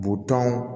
Butɔn